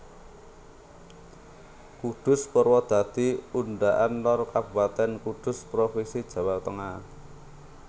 Kudus Purwodadi Undaan Lor Kabupatèn Kudus provinsi Jawa Tengah